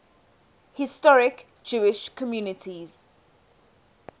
historic jewish communities